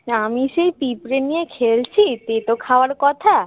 আমি সেই পিঁপড়ে নিয়ে খেলছি তেতো খাওয়ার কথা